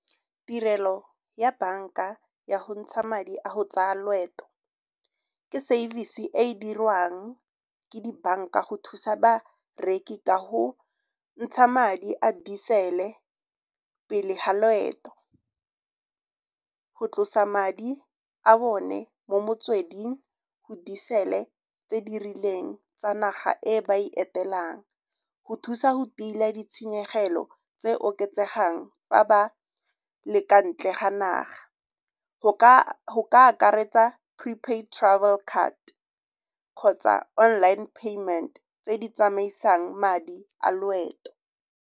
Tirelo ya banka ya go ntsha madi a go tsaya loeto ke service-e e e dirwang ke di-bank-a go thusa bareki ka go ntsha madi a diesel-e pele ga loeto. Go tlosa madi a bone mo motsweding go diesel-e tse di rileng tsa naga e ba e etelang, go thusa go tila ditshenyegelo tse oketsegang fa ba le ka ntle ga naga. Go ka akaretsa prepaid travel card kgotsa online payment tse di tsamaisang madi a loeto.